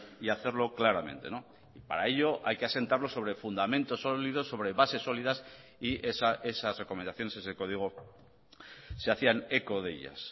y hacerlo claramente para ello hay que asentarlo sobre fundamentos sólidos sobre bases sólidas y esas recomendaciones ese código se hacían eco de ellas